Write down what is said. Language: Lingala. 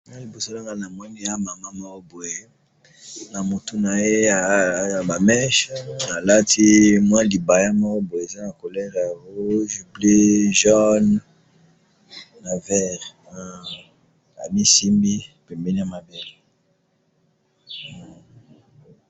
To moni mwasi alati elamba ya liputa ya langi ya mosaka, motane na bozinga.